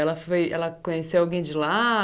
Ela foi ela conheceu alguém de lá?